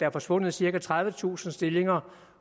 er forsvundet cirka tredivetusind stillinger